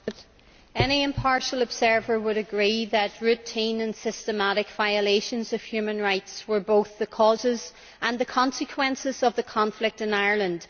Mr President, any impartial observer would agree that routine and systematic violations of human rights were both the causes and the consequences of the conflict in Ireland.